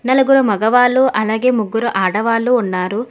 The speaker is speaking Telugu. నలుగురు మగవాళ్ళు అలాగే ముగ్గురు ఆడవాళ్లు ఉన్నారు.